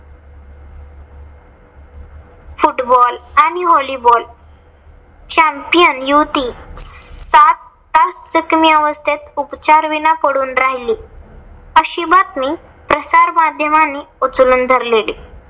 Football आणि volleyball champion युवती सात तास जखमी अवस्थेत उपचारविना पडून राहिली. अशी बातमी प्रसर माध्यमांनी उचलून धरलेली.